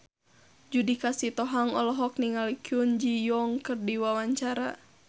Judika Sitohang olohok ningali Kwon Ji Yong keur diwawancara